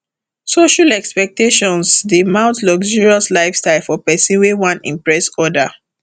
social expectations dey mount luxurious lifestyle for pesin wey wan impress other